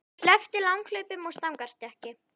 En ég sleppti langhlaupum og stangarstökki.